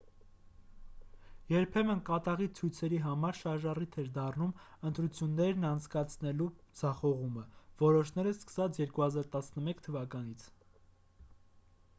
երբեմն կատաղի ցույցերի համար շարժառիթ էր դառնում ընտրություններն անցկացնելու ձախողումը որոշները սկսած 2011 թվականից